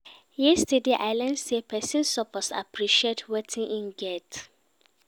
Yesterday, I learn sey pesin suppose appreciate wetin im get.